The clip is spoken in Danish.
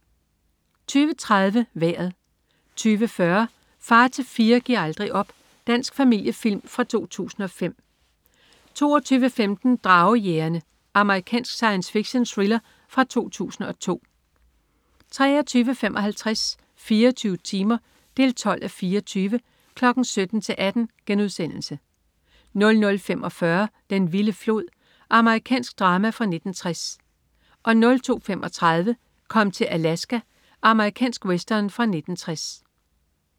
20.30 Vejret 20.40 Far til fire gi'r aldrig op. Dansk familiefilm fra fra 2005 22.15 Dragejægerne. Amerikansk science-fiction-thriller fra 2002 23.55 24 timer 12:24. 17.00-18.00* 00.45 Den vilde flod. Amerikansk drama fra 1960 02.35 Kom til Alaska. Amerikansk western fra 1960